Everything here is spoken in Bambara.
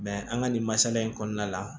an ka nin masala in kɔnɔna la